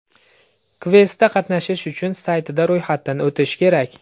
Kvestda qatnashish uchun saytida ro‘yxatdan o‘tish kerak.